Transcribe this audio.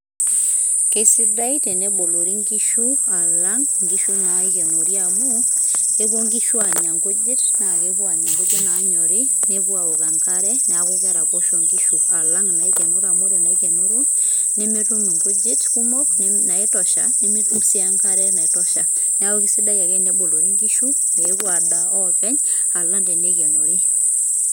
Kesidai tenebolori nkishu alang' inkishu naikenori amu, kepuo nkishu anya nkujit, na kepuo anya nkujit nanyori nepuo aaok enkare, neeku keraposho nkishu alang' inaikenoro amu ore naikenoro, nemetum inkujit kumok naitosha nemetum si enkare naitosha. Neeku kesidai ake tenebolori nkishu, peepuo adaa openy alang' teneikenori.